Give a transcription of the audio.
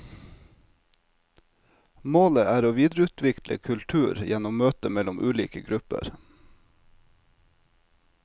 Målet er å videreutvikle kultur gjennom møtet mellom ulike grupper.